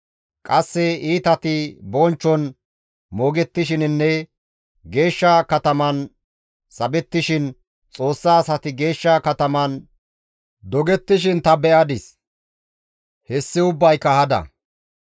Qasse iitati bonchchon moogettishininne geeshsha kataman sabettishin, Xoossa asati geeshsha kataman dogettishin ta be7adis; hessi ubbayka hada.